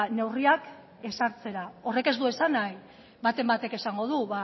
neurriak ezartzera horrek ez du esan nahi baten batek esango du